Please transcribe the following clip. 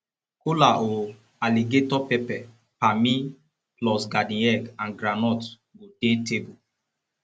kola o alligator pepper pammy plus garden egg and groudnut go dey table